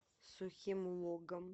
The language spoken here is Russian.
сухим логом